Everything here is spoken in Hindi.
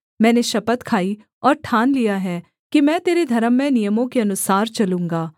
मैंने शपथ खाई और ठान लिया है कि मैं तेरे धर्ममय नियमों के अनुसार चलूँगा